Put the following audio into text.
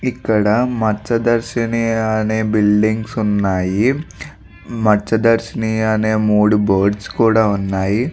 ఇక్కడ మస్త్యదర్శిని అనే బిల్డింగ్స్ ఉన్నాయి. మస్త్యదర్శిని అనే మూడు బోర్డ్స్ కూడా ఉన్నాయి.